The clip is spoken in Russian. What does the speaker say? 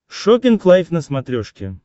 шоппинг лайф на смотрешке